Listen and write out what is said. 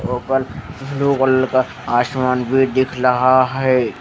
और उपल blue colour का आसमान भी दिख लाहा है।